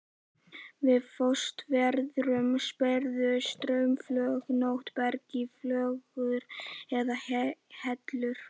Við frostveðrun springur straumflögótt berg í flögur eða hellur.